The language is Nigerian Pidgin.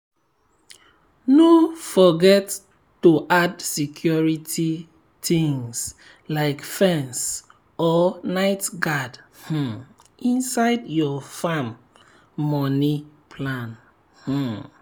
no forget to add security things like fence or night guard um inside your farm money plan. um